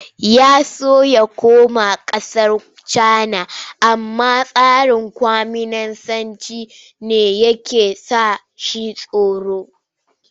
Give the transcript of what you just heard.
Ya so ya koma ƙasar Cana amma tsarin kwaminisancin ne yake ba shi tsoro.